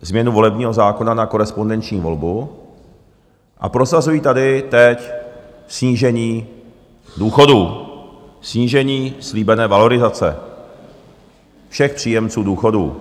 změnu volebního zákona na korespondenční volbu a prosazují tady teď snížení důchodů, snížení slíbené valorizace všech příjemců důchodů.